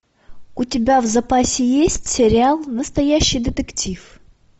у тебя в запасе есть сериал настоящий детектив